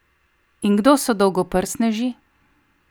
In kdo so dolgoprstneži?